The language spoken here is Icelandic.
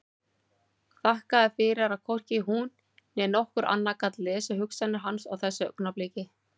Þakkaði fyrir að hvorki hún né nokkur annar gat lesið hugsanir hans á þessu augnabliki.